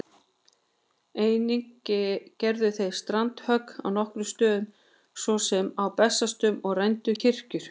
Einnig gerðu þeir strandhögg á nokkrum stöðum, svo sem á Bessastöðum, og rændu kirkjur.